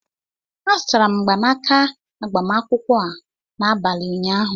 A zụtara m mgbanaka agbamakwụkwọ a n'abalị ụnyaahụ